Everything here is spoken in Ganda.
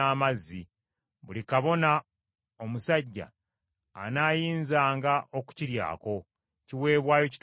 Buli kabona omusajja anaayinzanga okukiryako; kiweebwayo kitukuvu nnyo.